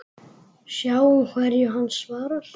Sjáum hverju hann svarar.